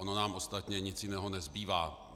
Ono nám ostatně nic jiného nezbývá.